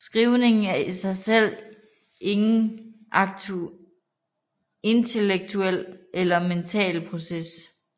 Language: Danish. Skrivning er i sig selv ingen intellektuel eller mental proces